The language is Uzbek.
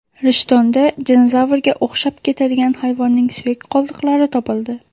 Rishtonda dinozavrga o‘xshab ketadigan hayvonning suyak qoldiqlari topildi .